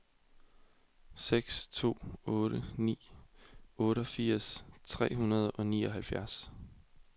seks to otte ni otteogfirs tre hundrede og nioghalvtreds